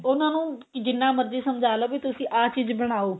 ਉਹਨਾ ਨੂੰ ਜਿੰਨਾ ਮਰਜੀ ਸਮਝਾ ਲੋ ਵੀ ਤੁਸੀਂ ਆਹ ਚੀਜ਼ ਬਣਾਓ